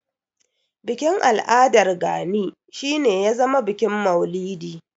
Bikin al'adar Gani shi ne ya zama bikin maulidi.